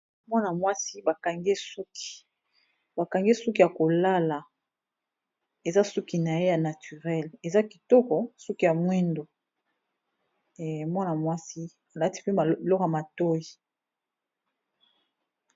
Mwana mwasi ba kangi ye suki, ba kangi ye suki ya kolala eza suki na ye ya naturele eza kitoko suki ya mwindu eh mwana mwasi alati pe biloko ya matoyi.